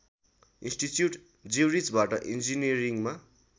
institute ज्युरिचबाट इन्जिनियरिङमा